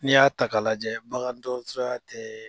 N'i y'a ta k'a lajɛ bagan dɔgɔtɔrɔ tɛ